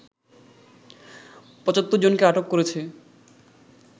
৭৫ জনকে আটক করেছে